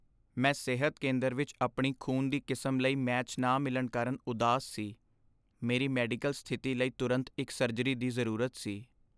ਮੈਂ ਸਿਹਤ ਕੇਂਦਰ ਵਿੱਚ ਆਪਣੀ ਖ਼ੂਨ ਦੀ ਕਿਸਮ ਲਈ ਮੈਚ ਨਾ ਮਿਲਣ ਕਾਰਨ ਉਦਾਸ ਸੀ। ਮੇਰੀ ਮੈਡੀਕਲ ਸਥਿਤੀ ਲਈ ਤੁਰੰਤ ਇੱਕ ਸਰਜਰੀ ਦੀ ਜ਼ਰੂਰਤ ਸੀ।